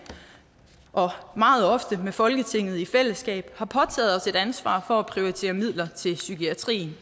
og meget ofte med folketinget i fællesskab har påtaget os et ansvar for at prioritere midler til psykiatrien